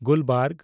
ᱜᱩᱞᱵᱟᱨᱜᱽ